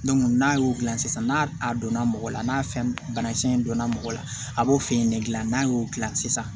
n'a y'o dilan sisan n'a a donna mɔgɔ la n'a fɛn banakisɛ in donna mɔgɔ la a b'o fɛ yen nege dilan n'a y'o dilan sisan